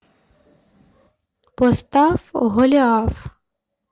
поставь голиаф